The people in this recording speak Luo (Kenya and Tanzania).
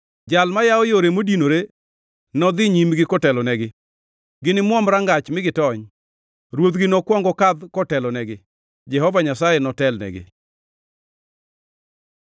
Jal mayawo yore modinore nodhi nyimgi kotelonegi. Ginimuom rangach mi gitony. Ruodhgi nokwong okadh kotelonegi. Jehova Nyasaye notelnegi.”